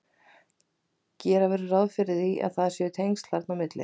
gera verður ráð fyrir að þarna séu tengsl á milli